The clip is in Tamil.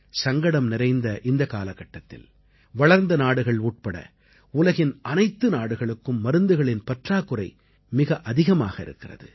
சங்கடம் நிறைந்த இந்தக் காலகட்டத்தில் வளர்ந்த நாடுகள் உட்பட உலகின் அனைத்து நாடுகளுக்கும் மருந்துகளின் பற்றாக்குறை மிக அதிகமாக இருக்கிறது